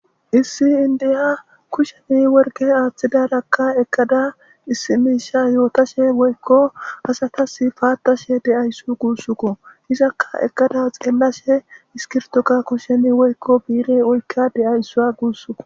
Issi inda kusheni woriqe hathidaraka eqida issi mishe yotashe asatas patashe de'awus gusuko. Izaka eqada ha xelashe iskirtoka kushen woyko bi'ire oyka de'awusa gusuko.